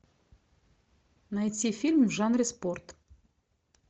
найти фильм в жанре спорт